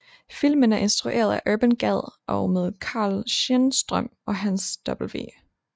Filmen er instrueret af Urban Gad og med Carl Schenstrøm og Hans W